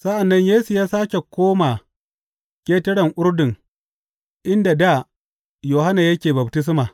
Sa’an nan Yesu ya sāke koma ƙetaren Urdun inda dā Yohanna yake baftisma.